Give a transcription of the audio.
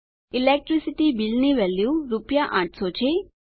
electricity bill ની value રૂપિયા 800 છે